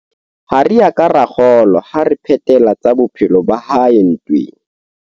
Ha re a ka ra kgolwa ha a re phetela tsa bophelo ba hae ntweng.